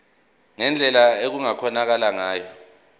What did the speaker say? ngendlela okungakhonakala ngayo